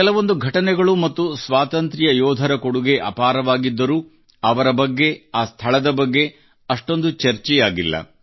ಕೆಲವೊಂದು ಘಟನೆಗಳು ಮತ್ತು ಸ್ವಾತಂತ್ರ್ಯ ಯೋಧರ ಕೊಡುಗೆ ಅಪಾರವಾಗಿದ್ದರೂ ಅವರ ಬಗ್ಗೆ ಆ ಸ್ಥಳದ ಬಗ್ಗೆ ಅಷ್ಟೊಂದು ಚರ್ಚೆಯಾಗಿಲ್ಲ